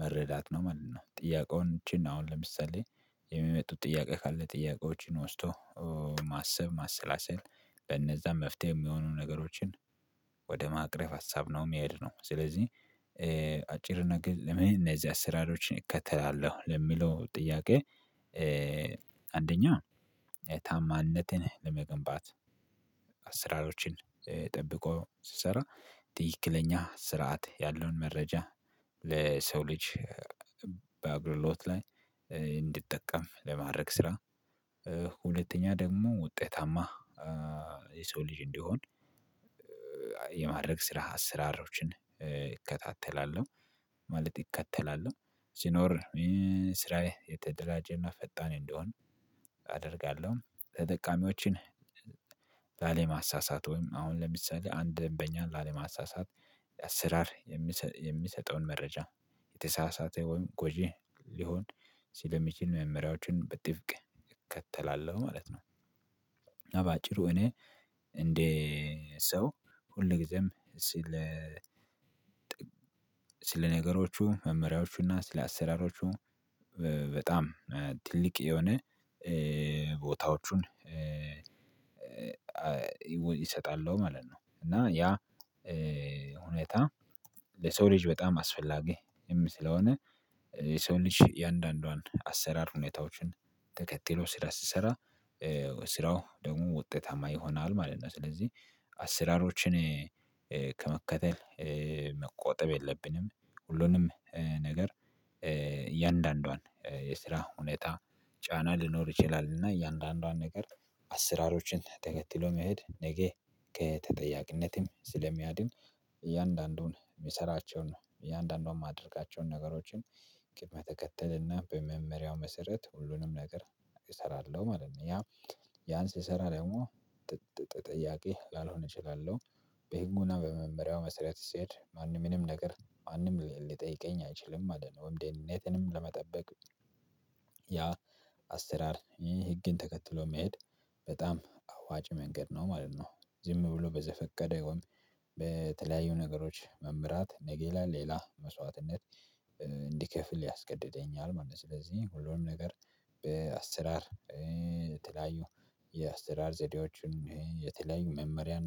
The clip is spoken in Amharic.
መረዳት ነው ማለት ነው። ጥያቄውን እቺን አሁን ለምሳሌ የሚመጡት ጥያቄ ካለ ጥያቄዎችን ወስዶ ማሰብ ማሰላሰል በነዛ መፍትሄ ሚሆኑ ነገሮችን ወደ ማቅረብ ሀሳብ ነው ሚሄድ ነው። ስለዚህ አጭር ነገር ለምን እነዚህ አሰራሮችን እከተላለሁ ለሚለው ጥያቄ? አንደኛ ታማነትን ለመገንባት አስራሮችን ጠብቆ ስሰራ ትክክለኛ ስርዓት ያለውን መረጃ ለሰው ልጅ በአግልግሎት ላይ እንዲጠቀም ለማድረግ ስራ። ሁለተኛ ደግሞ ውጤታማ የሰው ልጅ እንዲሆን የማድረግ ስራ አስራሮችን ይከታተላሉ። ማለት ይከተላሉ ሲኖር ስራዬ የተደራጀና ፈጣን እንደሆን አደርጋለሁ። ተጠቃሚዎችን ላለማሳሳት ወይም አሁን ለምሳሌ አንድ ደምበኛን ላለማሳሳት አሰራር የሚሰጠውን መረጃ የተሳሳተ ወይም ጎጂ ሊሆን ስለሚችል መመሪያዎችን በጥብቅ እከተላለሁ ማለት ነው። እና ባጭሩ እኔ እንደ ሰው ሁል ጊዜም ስለ ስለ ነገሮቹ መመሪያዎቹና ስለ አሰራሮቹ በጣም ትልቅ የሆነ ቦታዎቹን ይሰጣል ማለት ነው። እና ያ ሁኔታ ለሰው ልጅ በጣም አስፈላጊም ስለሆነ የሰው ልጅ እያንዳንዷን አሰራር ሁኔታዎችን ተከትሎ ስራ ሲሰራ ስራው ደግሞ ውጤታማ ይሆናል ማለት ነው። ስለዚህ አሰራሮችን ከመከተል መቆጠብ የለብንም። ሁሉንም ነገር የእያንዳንዷን የስራ ሁኔታ ጫና ልኖር ይችላል እና የእያንዳንዷን ነገር አስራሮችን ተከትሎ መሄድ ነገ ከተጠያቂነትም ስለሚያድን እያንዳንዱን የሚሰራቸውን እያንዳንዷን ማደርጋቸውን ነገሮችን ቅድመ ተከተልና በመመሪያው መሰረት ሁሉንም ነገር እሰራለሁ ማለት ነው። ያ ያን ስሰራ ደግሞ ጥያቄ ላልሆነ እችላለሁ በሄንጎና በመመሪያው መስራት ስሄድ ማንም ምንም ነገር ማንም ሊጠይቀኝ አይችልም ማለት ነው። ወይም ደህነትንም ለመጠበቅ ያ አሰራር ይህ ህግን ተከትሎ መሄድ በጣም አዋጭ መንገድ ነው ማለት ነው። ዝም ብሎ በዘፈቀደ ወይም በተለያዩ ነገሮች መምራት ነገ ላይ ሌላ መስዋዕትነት እንዲከፍል ያስገድደኛል ማለት ነው። ስለዚህ ሁሉንም ነገር በአስራር የተለያዩ የአስተዳር ዘዴዎችን የተለያዩ መመሪያ